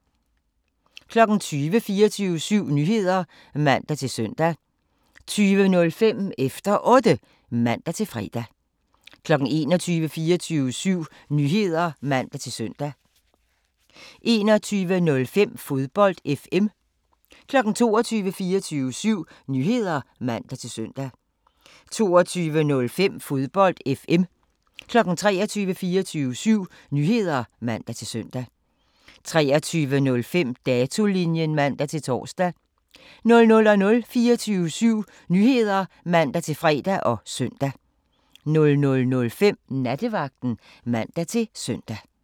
20:00: 24syv Nyheder (man-søn) 20:05: Efter Otte (man-fre) 21:00: 24syv Nyheder (man-søn) 21:05: Fodbold FM 22:00: 24syv Nyheder (man-søn) 22:05: Fodbold FM 23:00: 24syv Nyheder (man-søn) 23:05: Datolinjen (man-tor) 00:00: 24syv Nyheder (man-fre og søn) 00:05: Nattevagten (man-søn)